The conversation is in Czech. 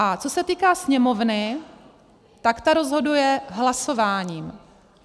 A co se týká Sněmovny, tak ta rozhoduje hlasováním.